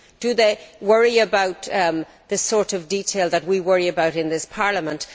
Do they worry about the sort of detail that we worry about in this Parliament?